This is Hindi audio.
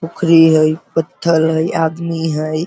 उखरि हइ पत्थल हइ आदमी हइ |